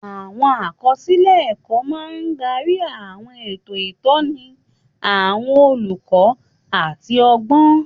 Àwọn àkọsílẹ̀ ẹ̀kọ́ máa ń darí àwọn ètò ìtọ́ni àwọn olùkọ́ àti ọgbọ́n.